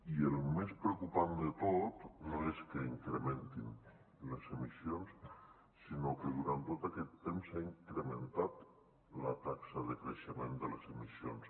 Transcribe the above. i el més preocupant de tot no és que s’incrementin les emissions sinó que durant tot aquest temps s’ha incrementat la taxa de creixement de les emissions